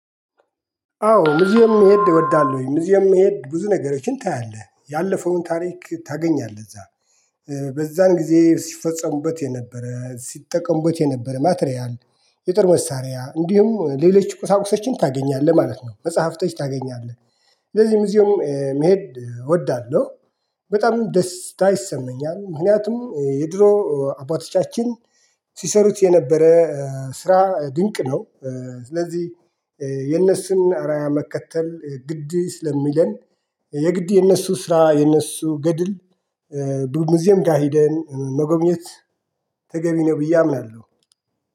አዎ ሙዚየም መሄድ እወዳለሁኝ ሙዚየም መሄድ ብዙ ነገሮችን ታያለህ ያለፈውን ታሪክ ታገኛለህ እዛ በዛን ጊዜ ሲፈጸሙበት የነበረ ሲጠቀሙበት የነበረ ማትሪያል የጥር መሳሪያ እንዲሁም ሌሎች ቁሳቁሶችን ታገኛለህ ማለት ነው። መጽሐፍቶች ታገኛለህ ስለዚህም ሙዜም መሄድ እወዳለሁ። በጣም ደስ ይሰመኛል ምክንያቱም የድሮ አባቶቻችን ሲሰሩት የነበረ ስራ ድንቅ ነው። ስለዚህ የነሱን እራያ መከተል ግድ ስለሚለን የግድ የነሱ ስራ የነሱ ገድል። ብዙ ሙዚየም ጋር ሄደን መጎብኘት ተገቢ ነው። ብዬ አምናለሁ